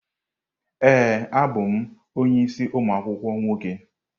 Ee, ọ bụ onye isi umu akwukwuo nwoke.